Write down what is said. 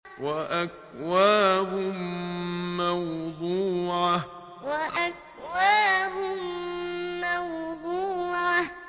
وَأَكْوَابٌ مَّوْضُوعَةٌ وَأَكْوَابٌ مَّوْضُوعَةٌ